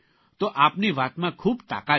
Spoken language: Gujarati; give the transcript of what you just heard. તો આપની વાતમાં ખૂબ તાકાત છે